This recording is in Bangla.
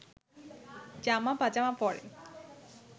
জামা পাজামা পরেন